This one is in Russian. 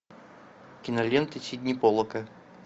кинолента сидни поллака